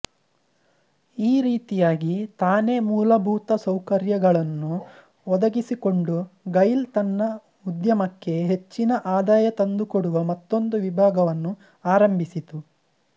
ಈ ರೀತಿಯಾಗಿ ತಾನೇ ಮೂಲಭೂತ ಸೌಕರ್ಯಗಳನ್ನು ಒದಗಿಸಿಕೊಂಡು ಗೈಲ್ ತನ್ನ ಉದ್ಯಮಕ್ಕೆ ಹೆಚ್ಚಿನ ಆದಾಯ ತಂದುಕೊಡುವ ಮತ್ತೊಂದು ವಿಭಾಗವನ್ನು ಆರಂಭಿಸಿತು